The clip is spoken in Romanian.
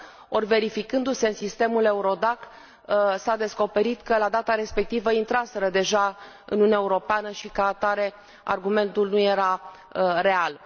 ori, verificându se în sistemul EURODAC, s a descoperit că, la data respectivă, intraseră deja în Uniunea Europeană și, ca atare, argumentul nu era real.